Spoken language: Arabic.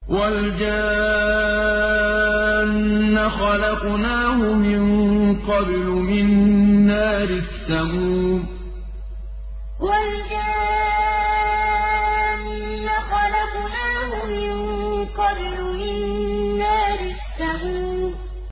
وَالْجَانَّ خَلَقْنَاهُ مِن قَبْلُ مِن نَّارِ السَّمُومِ وَالْجَانَّ خَلَقْنَاهُ مِن قَبْلُ مِن نَّارِ السَّمُومِ